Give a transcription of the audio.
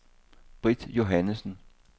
Britt Johannessen